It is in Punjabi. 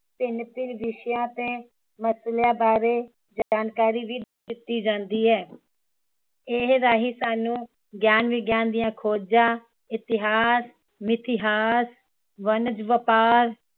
ਭਿੰਨ ਭਿੰਨ ਵਿਸ਼ਿਆਂ ਤੇ ਮਸਲਿਆਂ ਬਾਰੇ ਜਾਣਕਾਰੀ ਵੀ ਦਿਤੀ ਜਾਂਦੀ ਹੈ ਇਸ ਰਹੀ ਸਾਨੂੰ ਗਿਆਨ ਵਿਗਿਆਨ ਦੀਆਂ ਖੋਜਾਂ, ਇਤਿਹਾਸ, ਮਿਥਿਹਾਸ, ਵਰਤਮਾਨ, ਵਪਾਰ